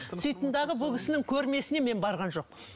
сөйттім дағы бұл кісінің көрмесіне мен барған жоқпын